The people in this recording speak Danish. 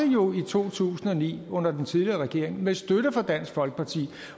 jo i to tusind og ni under den tidligere regering med støtte fra dansk folkeparti